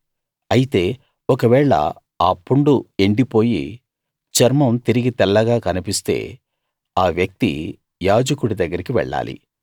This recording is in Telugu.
అయితే ఒకవేళ ఆ పుండు ఎండిపోయి చర్మం తిరిగి తెల్లగా కన్పిస్తే ఆ వ్యక్తి యాజకుడి దగ్గరికి వెళ్ళాలి